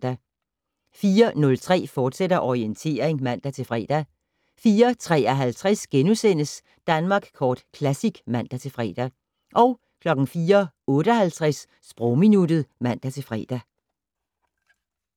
04:03: Orientering, fortsat (man-fre) 04:53: Danmark Kort Classic *(man-fre) 04:58: Sprogminuttet (man-fre)